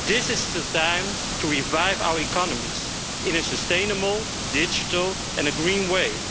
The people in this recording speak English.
This is the time to revive our economies in a sustainable, digital and green way,